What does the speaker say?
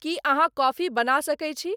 की अहाँकॉफी बना सके छी